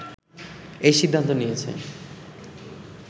এই সিদ্ধান্ত নিয়েছে